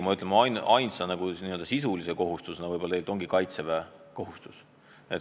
Ainus n-ö sisuline kohustus ongi kaitseväekohustus.